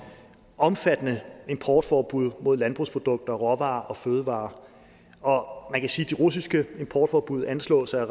omfattende importforbud mod landbrugsprodukter råvarer og fødevarer og og man kan sige at det russiske importforbud anslås at